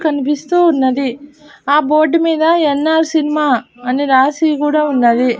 కనిపిస్తూ ఉన్నది ఆ బోర్డు మీద యన్ ఆర్ సినిమా అని రాసి కూడా ఉన్నది.